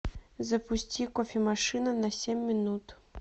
запусти кофемашина на семь минут